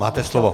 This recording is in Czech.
Máte slovo.